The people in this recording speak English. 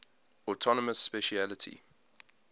autonomous specialty